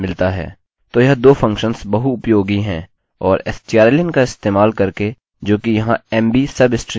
तो यह दो फंक्शंस बहुउपयोगी हैं और strlen का इस्तेमाल करके जोकि यहाँ mb सबस्ट्रिंग के लिए लागू होता है